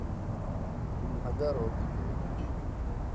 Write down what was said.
огородниковой